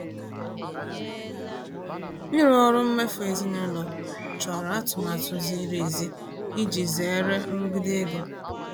Ịrụ ọrụ mmefu ezinaụlọ chọrọ atụmatụ ziri ezi iji zere nrụgide ego.